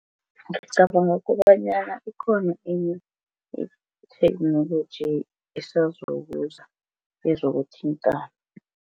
Ngicabanga kobanyana ikhona enye itheknoloji esazokuza yezokuthintana.